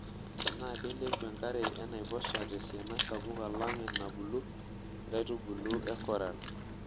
Tenaa keilepu enkare enaiposha tesiana sapuk alang enabulu nkaitubulu e koral.